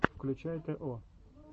включай тэ о